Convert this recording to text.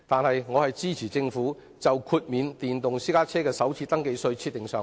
然而，我仍支持政府為豁免電動私家車首次登記稅設立上限。